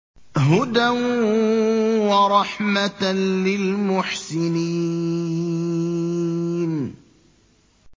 هُدًى وَرَحْمَةً لِّلْمُحْسِنِينَ